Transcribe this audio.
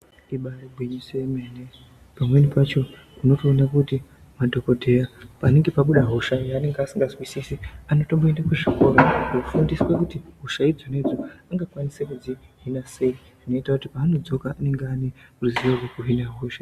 Ibari gwinyiso remene pamweni pacho ndinotoone kuti madhokodheya panenge pabuda hosha yaasingazwisisi anoenda kuzvikora kofundiswa kuti hosha idzonaidzo angakwanisa kudzihina sei zvinoita kuti paanodzoka anenge aane ruzivo rwekuhina hosha idzi.